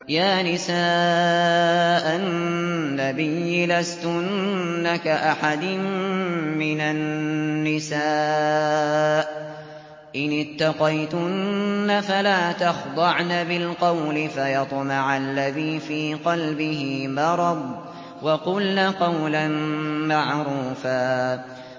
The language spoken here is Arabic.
يَا نِسَاءَ النَّبِيِّ لَسْتُنَّ كَأَحَدٍ مِّنَ النِّسَاءِ ۚ إِنِ اتَّقَيْتُنَّ فَلَا تَخْضَعْنَ بِالْقَوْلِ فَيَطْمَعَ الَّذِي فِي قَلْبِهِ مَرَضٌ وَقُلْنَ قَوْلًا مَّعْرُوفًا